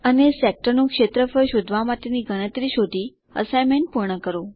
અને સેક્ટરનું ક્ષેત્રફળ શોધવા માટેની ગણતરી શોધી અસાઇનમેન્ટ પૂર્ણ કરો